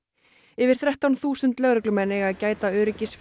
yfir þrettán þúsund lögreglumenn eiga að gæta öryggis